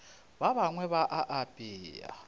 ba bangwe ba a apea